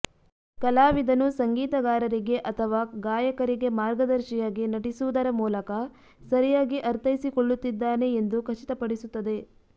ಕಲಾವಿದನು ಸಂಗೀತಗಾರರಿಗೆ ಅಥವಾ ಗಾಯಕರಿಗೆ ಮಾರ್ಗದರ್ಶಿಯಾಗಿ ನಟಿಸುವುದರ ಮೂಲಕ ಸರಿಯಾಗಿ ಅರ್ಥೈಸಿಕೊಳ್ಳುತ್ತಿದ್ದಾನೆ ಎಂದು ಖಚಿತಪಡಿಸುತ್ತದೆ